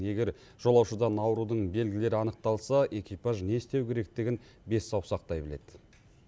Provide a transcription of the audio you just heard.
егер жолаушыдан аурудың белгілері анықталса экипаж не істеу керектігін бес саусақтай біледі